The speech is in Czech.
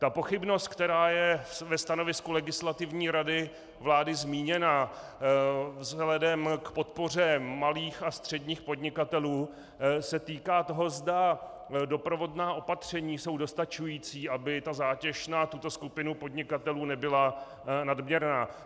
Ta pochybnost, která je ve stanovisku Legislativní rady vlády zmíněna vzhledem k podpoře malých a středních podnikatelů, se týká toho, zda doprovodná opatření jsou dostačující, aby ta zátěž na tuto skupinu podnikatelů nebyla nadměrná.